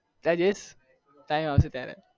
કયારે જઈ time આવશે ત્યારે